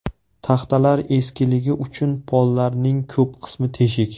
Taxtalar eskiligi uchun pollarning ko‘p qismi teshik.